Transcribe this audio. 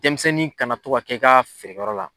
Denmisɛnnin kana to kɛ i ka feere yɔrɔ la